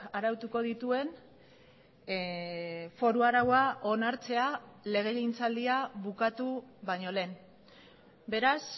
arautuko dituen foru araua onartzea legegintzaldia bukatu baino lehen beraz